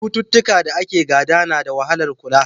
Cututtukan da ake gada na da wahalar kula.